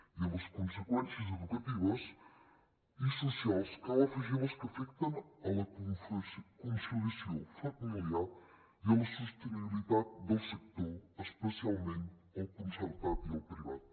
i a les conseqüències educatives i socials cal afegir les que afecten a la conciliació familiar i a la sostenibilitat del sector especialment el concertat i el privat